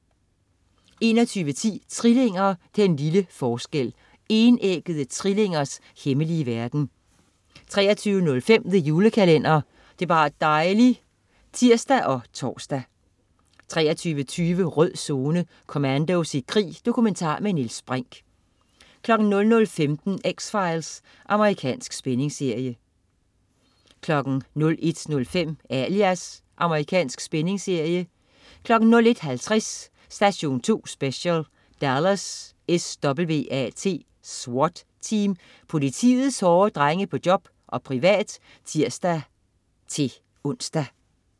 21.10 Trillinger, den lille forskel. Enæggede trillingers hemmelige verden 23.05 The Julekalender. Det er bar' dejli' (tirs og tors) 23.20 Rød Zone: Commandos i krig. Dokumentar med Niels Brinch 00.15 X-Files. Amerikansk spændingsserie 01.05 Alias. Amerikansk spændingsserie 01.50 Station 2 Special: Dallas SWAT Team. Politiets hårde drenge på job og privat (tirs-ons)